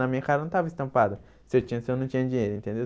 Na minha cara não estava estampado se eu tinha ou se eu não tinha dinheiro, entendeu?